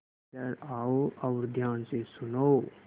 इधर आओ और ध्यान से सुनो